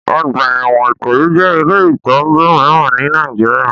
Ọgbà ẹ̀wọ̀n Ikoyi jẹ́ ilé ìtọ́jú mìíràn ní Nàìjíríà.